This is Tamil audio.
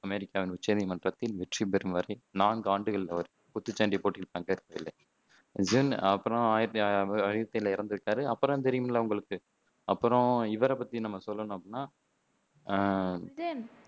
அமெரிக்க உச்சநீதிமன்றத்தில் வெற்றி பெறும் வரை நான்கு ஆண்டுகள் அவர் குத்துச்சண்டை போட்டியில் பங்கேற்கவில்லை. அப்பறம் இறந்து விட்டாரு அப்பறம் தான் தெரியுமுல்ல உங்களுக்கு அப்பறம் இவரை பத்தி நம்ம சொல்லணும் அப்படின்னா அஹ்